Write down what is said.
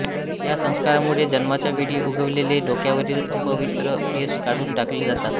या संस्कारामुळे जन्माच्या वेळी उगवलेले डोक्यावरील अपवित्र केस काढून टाकले जातात